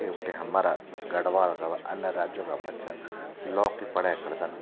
यख बटे हमरा गढ़वाल का अन्य राज्यों का बच्चा लॉ की पढै करदन।